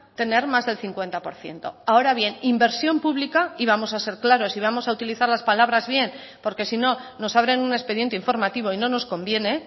tener más del cincuenta por ciento ahora bien inversión pública y vamos a ser claros y vamos a utilizar las palabras bien porque si no nos abren un expediente informativo y no nos conviene